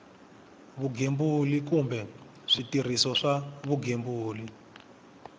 vugembuli kumbe switirhiso swa vugembuli